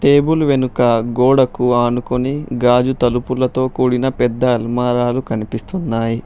Table వెనుక గోడకు అనుకొని గాజు తలుపులతో కూడిన పెద్ద ఆల్మరాలు కనిపిస్తున్నాయి.